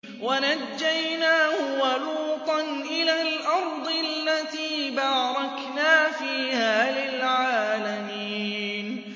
وَنَجَّيْنَاهُ وَلُوطًا إِلَى الْأَرْضِ الَّتِي بَارَكْنَا فِيهَا لِلْعَالَمِينَ